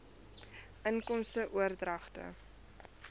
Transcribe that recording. inkomste oordragte